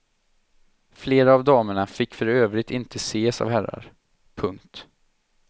Flera av damerna fick för övrigt inte ses av herrar. punkt